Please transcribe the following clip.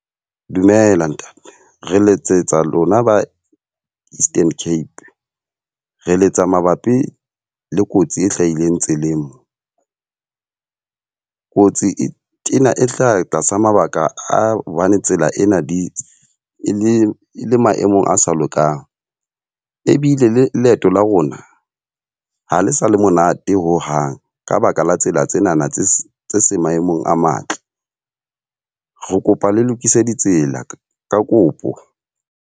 Dumela ntate, re letsetsa lona ba Eastern Cape. Re letsa mabapi le kotsi e hlahileng tseleng mo. Kotsi e tena e hlaha tlasa mabaka a hobane tsela ena di e le le maemong a sa lokang. Ebile le leeto la rona ha le sa le monate ho hang. Ka baka la tsela tsenana tse tse seng maemong a matle. Re kopa le lokise ditsela, ka kopo.